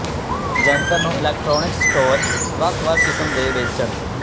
ਜੰਤਰ ਨੂੰ electronics store ਵੱਖ ਵੱਖ ਕਿਸਮ ਦੇ ਵੇਚਣ